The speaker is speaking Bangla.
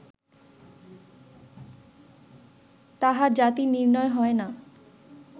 তাঁহার জাতি নির্ণয় হয় না